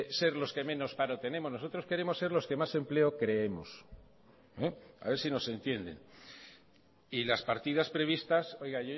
ser los que menos paro tenemos nosotros queremos ser los que más empleo creemos a ver si nos entienden y las partidas previstas oiga